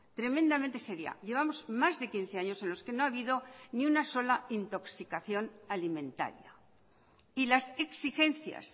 tremendamente seria llevamos más de quince años en los que no ha habido ni una sola intoxicación alimentaria y las exigencias